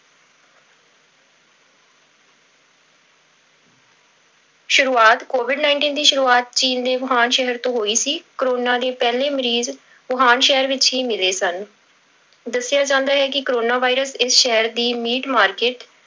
ਸ਼ੁਰੂਆਤ covid nineteen ਦੀ ਸ਼ੁਰੂਆਤ ਚੀਨ ਦੇ ਵੂਹਾਨ ਸ਼ਹਿਰ ਤੋਂ ਹੋਈ ਸੀ ਕੋਰੋਨਾ ਦੀ ਪਹਿਲੀ ਮਰੀਜ਼ ਵੂਹਾਨ ਸ਼ਹਿਰ ਵਿੱਚ ਹੀ ਮਿਲੇ ਸਨ, ਦੱਸਿਆ ਜਾਂਦਾ ਹੈ ਕੋਰੋਨਾ virus ਇਸ ਸ਼ਹਿਰ ਦੀ meat market